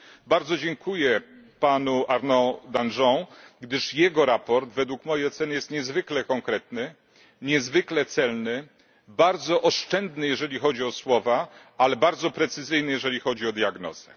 Bardzo dziękuję panu Arnaud Danjean, gdyż jego sprawozdanie według mojej oceny jest niezwykle konkretne, niezwykle celne, bardzo oszczędne, jeżeli chodzi o słowa, ale bardzo precyzyjne, jeżeli chodzi o diagnozę.